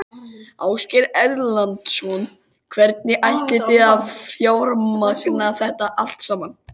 Ásgeir Erlendsson: Hvernig ætlið þið að fjármagna þetta allt saman?